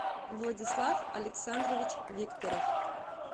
владислав александрович викторов